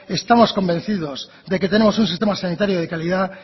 estamos convencidos de que tenemos un sistema sanitario de calidad